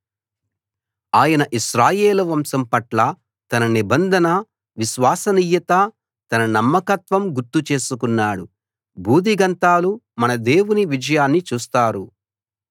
ఆయన ఇశ్రాయేలు వంశం పట్ల తన నిబంధన విశ్వసనీయత తన నమ్మకత్వం గుర్తు చేసుకున్నాడు భూదిగంతాలు మన దేవుని విజయాన్ని చూస్తారు